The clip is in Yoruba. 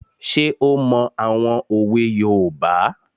Ṣé ó mọ àwọn òwe yoòbá?